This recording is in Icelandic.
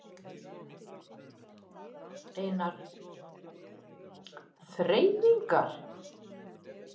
Einar: Þreifingar?